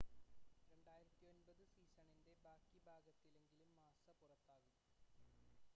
2009 സീസണിൻ്റെ ബാക്കി ഭാഗത്തിലെങ്കിലും മാസ്സ പുറത്താകും